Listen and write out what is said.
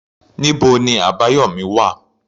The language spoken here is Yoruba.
Níbo ni Abayomi wà?